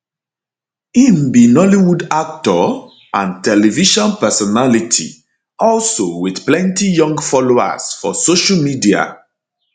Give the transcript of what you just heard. im be nollywoodactor and television personality also wit plenti young followers for social media